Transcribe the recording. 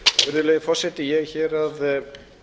verulegu forseti ég er hér að